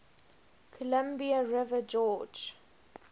columbia river gorge